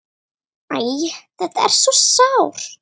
Æ, þetta er svo sárt.